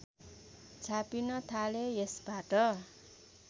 छापिन थाले यसबाट